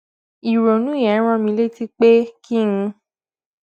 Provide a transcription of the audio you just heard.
ìrònú yẹn rán mi létí pé kí n